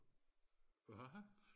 hva